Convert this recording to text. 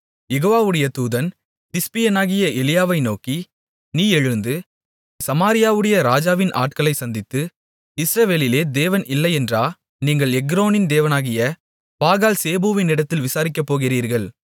யெகோவாவுடைய தூதன் திஸ்பியனாகிய எலியாவை நோக்கி நீ எழுந்து சமாரியாவுடைய ராஜாவின் ஆட்களைச் சந்தித்து இஸ்ரவேலிலே தேவன் இல்லையென்றா நீங்கள் எக்ரோனின் தேவனாகிய பாகால்சேபூவிடத்தில் விசாரிக்கப்போகிறீர்கள்